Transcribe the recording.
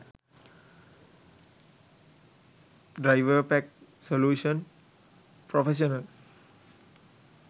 driverpack solution professional